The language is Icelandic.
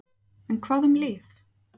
En hvað um lyf?